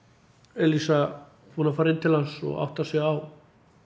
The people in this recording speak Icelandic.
Elísa búin að fara inn til hans og áttar sig á